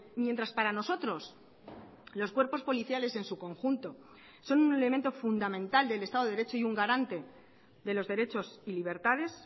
mientras para nosotros los cuerpos policiales en su conjunto son un elemento fundamental del estado de derecho y un garante de los derechos y libertades